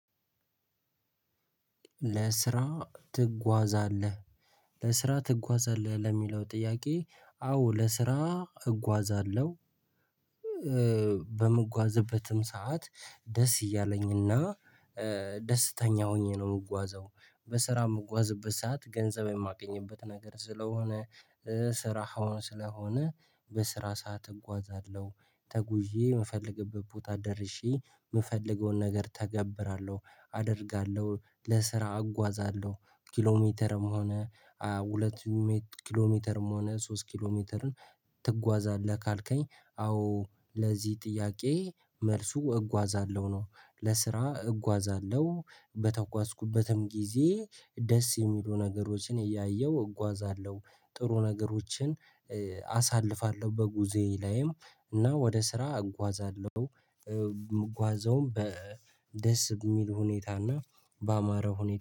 ለስራ ትጓዛለህ? ለስራ ትጓዛለህ ለሚለው ጥያቄ አዎ ለስራ እጓዛለሁ። በምጓዝበትም ሰዓት ደስ እያለኝና ደስተኛ ሆኜ ነው የምጓዘው። በስራ የምጓዝበት ሰዓት ገንዘብ የማገኝበት ነገር ስለሆነ ስራህ እውን ስለሆነ በስራ ሰዓት እጓዛለሁ ተጉዤ የምፈልግበት ቦታ ደርሼ የምፈልገውን ነገር እተገብራለሁ፣ አደርጋለሁ፣ ለስራ አጓዛለሁ። ኪሎ ሜትርም ሆነ ሁለት ኪሎ ሜትርም ሆነ ሶስት ኪሎ ሜትርም ትጓዛለህ ካልከኝ አዎ ለዚህ ጥያቄ መልሱ እጓዛለሁ ነው። ለስራ እጓዛለሁ በተጓዝኩበትም ጊዜ ደስ የሚሉ ነገሮችን እያየሁ እጓዛለሁ። ጥሩ ነገሮችን አሳልፋለሁ በጉዞዬ ላይም እና ወደ ስራ እጓዛለሁኝ እምጓዘውም ደስ በሚል ሁኔታና በአማረ ሁኔታ